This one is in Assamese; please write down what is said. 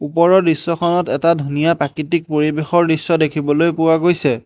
ওপৰৰ দৃশ্যখনত এটা ধুনীয়া প্ৰাকৃতিক পৰিৱেশৰ দৃশ্য দেখিবলৈ পোৱা গৈছে।